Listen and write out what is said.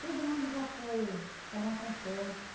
Todo mundo já foi, cada um para um canto.